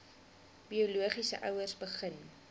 biologiese ouers begin